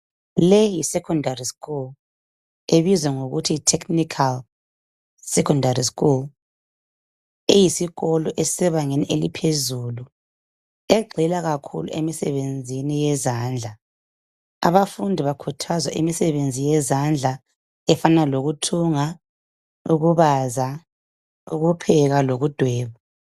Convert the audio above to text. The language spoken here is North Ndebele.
Leyi yisecondary school ebizwa ngokuthi yiTechnical Secondary School. Eyisikolo esisebangeni eliphezulu egxila kakhulu emisebenzini yezandla. Abafundi bakhuthazwa imisebenzi yezandla efana lokuthunga, ukubaza, ukupheka lokudweba.